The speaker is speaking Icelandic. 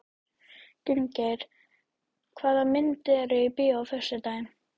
Gunngeir, hvaða myndir eru í bíó á föstudaginn?